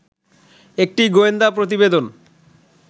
একটি গোয়েন্দা প্রতিবেদন